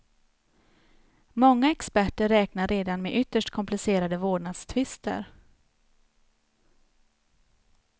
Många experter räknar redan med ytterst komplicerade vårdnadstvister.